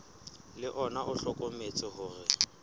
le ona o hlokometse hore